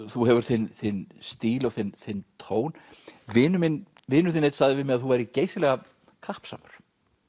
þú hefur þinn þinn stíl og þinn þinn tón vinur þinn vinur þinn einn sagði við mig að þú værir geysilega kappsamur